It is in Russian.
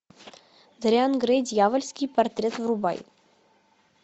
дориан грей дьявольский портрет врубай